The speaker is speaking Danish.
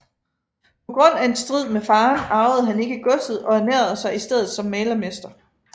På grund af en strid med faren arvede han ikke godset og ernærede sig i stedet som malermester